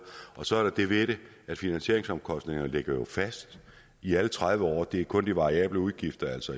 så er der jo det ved det at finansieringsomkostningerne ligger fast i alle tredive år det er kun de variable udgifter altså